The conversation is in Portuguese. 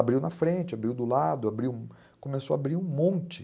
Abriu na frente, abriu do lado, abriu, começou a abrir um monte.